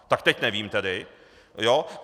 Tak teď nevím tedy.